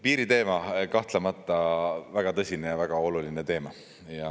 Piiriteema on kahtlemata väga tõsine ja väga oluline teema.